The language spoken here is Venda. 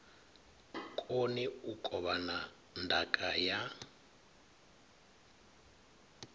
koni u kovhana ndaka ya